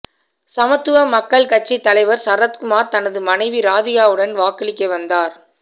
சமத்துவ மக்கள் கட்சி தலைவர் சரத்குமார் தனது மனைவி ராதிகாவுடன் வாக்களிக்க வந்தார்